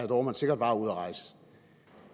dohrmann sikkert var ude at rejse